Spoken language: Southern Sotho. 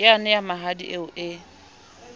yane ya mahadi eo e